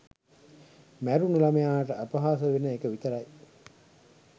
මැරුණු ළමයාට අපහාසවෙන එක විතරයි.